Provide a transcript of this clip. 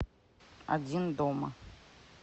один дома